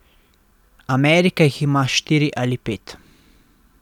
Amerika jih ima štiri ali pet.